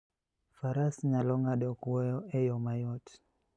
Faras nyalo ng'ado kwoyo e yo mayot.